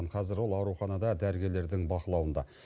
қазір ол ауруханада дәрігерлердің бақылауында